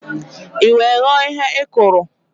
I wee ghọọ ihe ị kụrụ